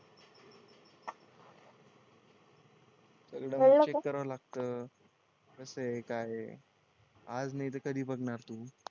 एकदा चेक करावं लागतं कसंय काय ये आज नाय तर कधी बघणार तू